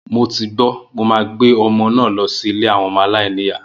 Mo ti gbó, mo máa gbé ọmọ náà lọ sí ilé àwọn aláìní ìyá.